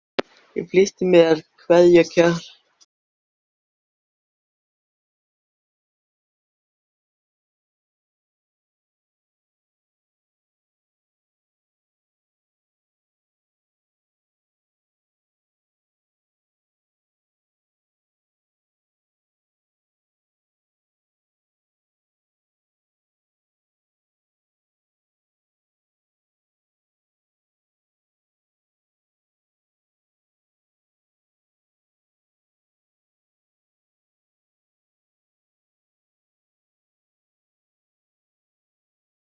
Hann var búinn að vera og öllum sama.